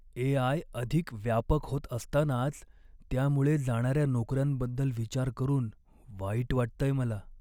ए. I. अधिक व्यापक होत असतानाच त्यामुळे जाणाऱ्या नोकऱ्यांबद्दल विचार करून वाईट वाटतंय मला.